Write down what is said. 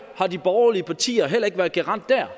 har de borgerlige partier heller ikke været garant der